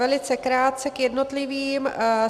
Velice krátce k jednotlivým.